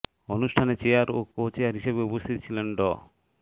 অনুষ্ঠানে চেয়ার ও co chair হিসেবে উপস্থিত ছিলেন ড